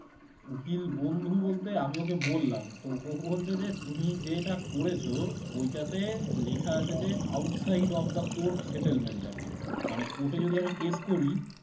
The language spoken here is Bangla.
উকিল বন্ধু বলতে আমি ওকে বললাম তো ও বলছে যে তুমি যেটা করেছ ওইটাতে লেখা আছে যে outside of the court settlement আরকি মানে court এ যদি আমি case করি